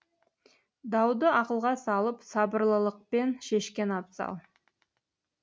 дауды ақылға салып сабырлылықпен шешкен абзал